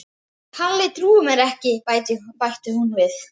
Kalli trúir mér ekki bætti hún við.